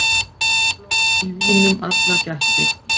Flóð í vínum allar gættir.